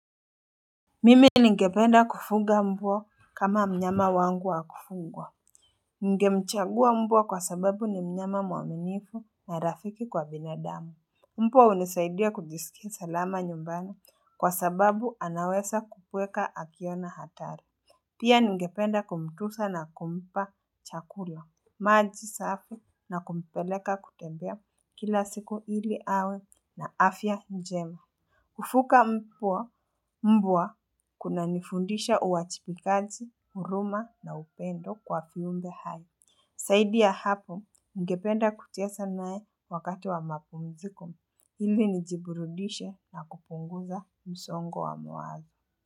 Mimi ningependa kufuga mbwa kama mnyama wangu wa kufugwa. Ningemchagua mbwa kwa sababu ni mnyama mwaminifu na rafiki kwa binadamu. Mbwa hunisaidia kujisikia salama nyumbani kwa sababu anaweza kubweka akiona hatari. Pia ningependa kumtunza na kumpa chakula. Maji safi na kumpeleka kutembea kila siku ili awe na afya njema. Kufuga mbwa kunanifundisha uwajibikaji huruma na upendo kwa viumbe hai zaidi ya hapo ningependa kucheza naye wakati wa mapumziko ili nijiburudishe na kupunguza msongo wa mawazo.